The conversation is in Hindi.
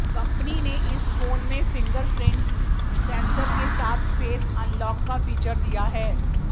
कंपनी ने इस फोन में फिंगरप्रिंट सेंसर के साथ फेस अनलॉक का फीचर दिया है